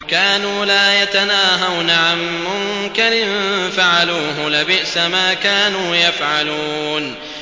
كَانُوا لَا يَتَنَاهَوْنَ عَن مُّنكَرٍ فَعَلُوهُ ۚ لَبِئْسَ مَا كَانُوا يَفْعَلُونَ